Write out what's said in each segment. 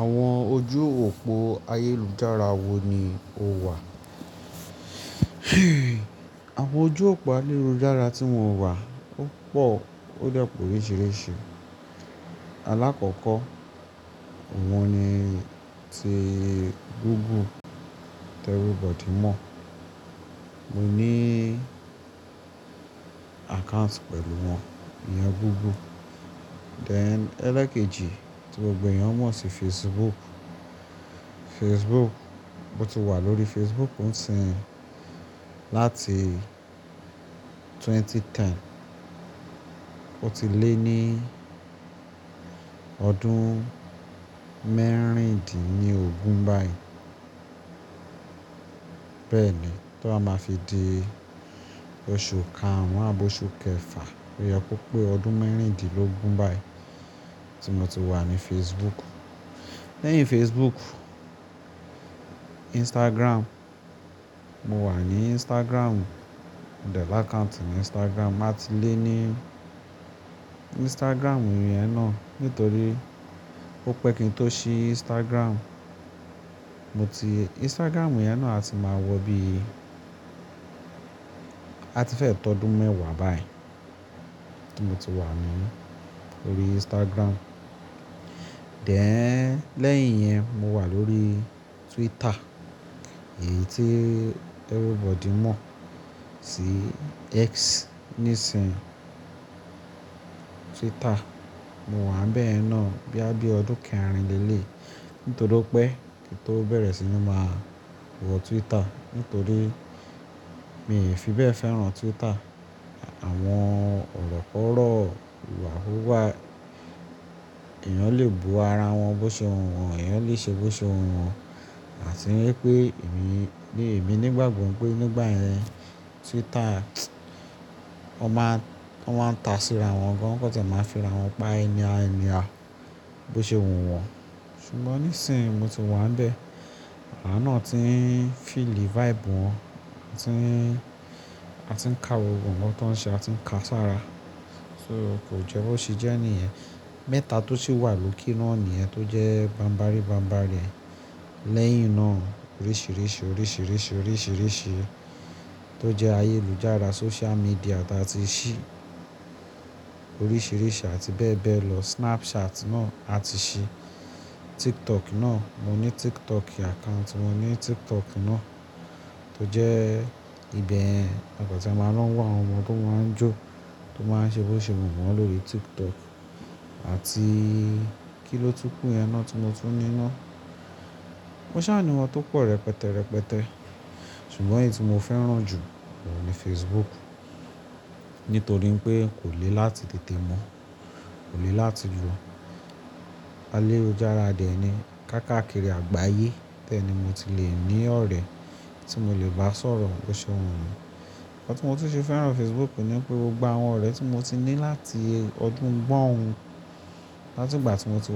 Àwọn ojú òpó ayélujára wo ni o wà? Àwọn ojú òpó ayélujára tí mo wà, ó pọ̀, ó depe òriṣiriṣi. Alákọ̀ọ́kọ́ wọn ni tí Google, everybody mọ̀. Mo ní account pẹ̀lú wọn, ìyẹn Google. Dẹ̀ ẹlẹ́kejì tí gbogbo eẹ̀yàn mọ̀ sí Facebook. Facebook, mo ti wà lórí Facebook sì ń láti ẹgbẹ̀rún méjì ó lé ẹ̀wá. Ó ti lé ní ọdún mẹ́rìndínlógún báyìí. Bẹ́ẹ̀ni, tó a máa fi di oṣù kaàrún àbo oṣù kẹfà, o ye ko pé ọdún mẹ́rìndínlógún báyìí tí mo ti wà ní Facebook. Lẹ́yìn Facebook, Instagram. Mo wà ní Instagram. Mo dẹ̀ l'account ni Instagram. Màá ti lé ní Instagram yẹn náà nítorí ó pẹ́ kí n tó ṣí Instagram. Mo ti-- Instagram yẹn náà a ti máa wọ bí a ti fẹ́ tọ́ ọdún mẹ́wàá báyìí tí mo ti wà ní orí Instagram. Dẹ̀ lẹ́yìn yẹn mo wà lórí Twitter, èyí tí everybody mọ̀ sí X nísinsìnyí. Twitter, mo wà n bẹ́yen náà boya bí ọdún kẹrin lélẹ̀ nítorí pé kí n tó bẹ̀rẹ̀ sí ní máa wọ Twitter nítorí mi ò fi bẹ́ẹ̀ fẹ́ràn Twitter. Àwọn ọ̀rọ̀ kọ̀rọ̀ ìwà kúwà, eẹ̀yàn lè bu ara wọn bó ṣe wù wọ́n, eẹ̀yàn lè ṣe bó ṣe wù wọ́n. Àti pé èmi, bí èmi nígbàgbọ́ pé nígbà yẹn Twitter wọ́n máa, wọ́n máa ń ta síra wọn gan, wọn kò tàn máa ń fira wọn pa anyhow anyhow bó ṣe wù wọ́n. Ṣùgbọ́n nísinsìnyí mo ti wà n bẹ́ẹ̀, awa naà tí ń feel the vibe wọn, a ti ń, a ti ń ka gbogbo nnkan tó ń ṣe, a ti ń ka sára. So kò jẹ́ bó ṣe jẹ́ ní ẹ̀ mẹ́ta tó sì wà lóke náà níyẹn tó jẹ́ bambárí bambárí rẹ̀. Lẹ́yìn náà oríṣìíríṣìí, oríṣìíríṣìí, oríṣìíríṣìí tó jẹ́ ayélujára social media tí a ti ṣì oríṣìíríṣi àti bẹ́ẹ̀ bẹ́ẹ̀ lọ. Snapchat náà a ti ṣì, TikTok náà mo ní TikTok account, mo ní TikTok náà tó jẹ́ ibi ẹni wọn kò tàn máa ń wá àwọn ọmọ tó máa ń jó, tó máa ń ṣe bó ṣe wù wọ́n lórí TikTok. Àti kí ló túkú, ẹ náà tí mo tún ní naá. Mo ṣà ní wọn tó pọ̀ rẹpẹtẹ rẹpẹtẹ. Ṣùgbọ́n èyí tí mo fẹ́ràn jù ni Facebook. Nítorí pé kò le láti tètè mọ́, kò le láti lo. Ayelujara dẹni, káàkiri àgbáyé. Nibẹ̀ ni mo ti le ní ọ̀rẹ́ tí mo le basoro bo se wunmi. Nnkan ti mo se feran facebook ni pe gbogbo awon ore ti mo ti ni lati odun gbon-un, latigba ti bá sọ̀rọ̀ bó ṣe wù wọ́n. Tale fi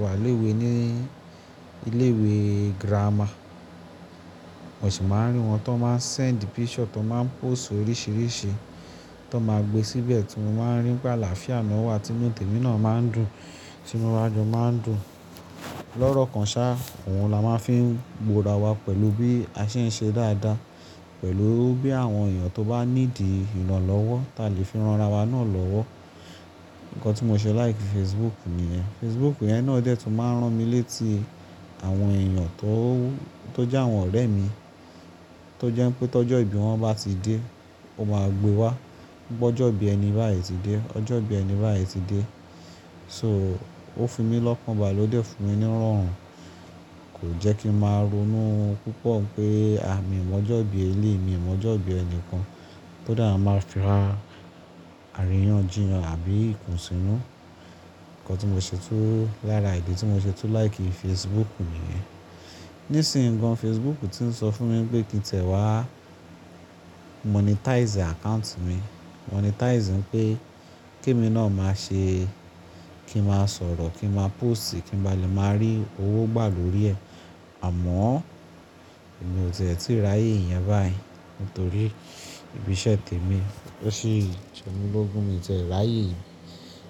ran ara wa naa lowo. Nnkan tí mo ṣe like Facebook nìyẹn. Facebook yẹn náà dẹ́ tun máa ń rán mi létí àwọn èèyàn tó, tó jẹ́ àwọn ọ̀rẹ́ mi. Tó jẹ́ pé tó jọ ìbí wọn bá ti dé, ó máa gbe wá. Po ọjọ́ ìbí ẹni báyí ti dé, ọjọ́ ìbí ẹni báyí ti dé. So ó fi mí lọ́kan bale, ó de fún mi nirorun. Kò jẹ́ kí n máa ronú púpọ̀ pé a mi ò mọ ọjọ́ ìbí ẹlẹ́yi, mi ò mọ ọjọ́ ìbí ẹni kan tó dàá máa ń fira àríyànjiyàn àbí ìkùnsínú. Nnkan tí mo ṣe tun lára ìdí tí mo ṣe tun like Facebook nìyẹn. Nísinsìnyí gan Facebook ti ń sọ fún mi pé kí n tẹ̀ wá monetize account mi. Monetize ńipé kí mi náà máa ṣe kí n máa sọ̀rọ̀, kí n máa post, kí n ba lè máa rí owó gbà lórí ẹ̀. Àmọ́ èmi ò tẹ̀ tíì ráyè ìyẹn báyìí nítorí ibi iṣẹ́ tèmi. Ó ṣi jẹ́mi lógún mi tẹ̀ ráyè ìyẹn.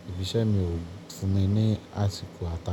Ibi iṣẹ́ mi ò fún mi ní àsìkò àtàkò.